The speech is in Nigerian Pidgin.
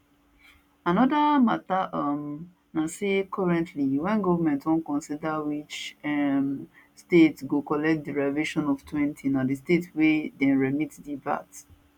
anoda mata um na say currently wen goment wan consider which um state go collect derivation oftwentyna di state wia dem remit di vat